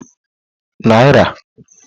nari